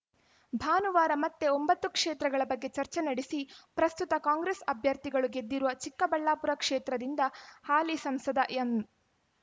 ಭಾನುವಾರ ಮತ್ತೆ ಒಂಬತ್ತು ಕ್ಷೇತ್ರಗಳ ಬಗ್ಗೆ ಚರ್ಚೆ ನಡೆಸಿ ಪ್ರಸ್ತುತ ಕಾಂಗ್ರೆಸ್‌ ಅಭ್ಯರ್ಥಿಗಳು ಗೆದ್ದಿರುವ ಚಿಕ್ಕಬಳ್ಳಾಪುರ ಕ್ಷೇತ್ರದಿಂದ ಹಾಲಿ ಸಂಸದ ಎಂ